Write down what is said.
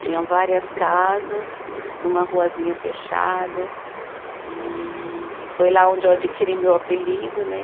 Tinham várias casas, numa ruazinha fechada e foi lá onde eu adquiri meu apelido, né?